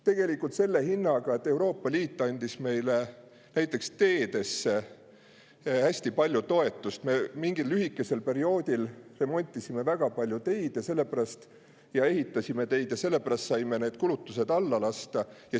Tegelikult selle hinnaga, et Euroopa Liit andis meile teede jaoks hästi palju toetust, me mingil lühikesel perioodil remontisime ja ehitasime väga palju teid ja selle pärast saime alla lasta.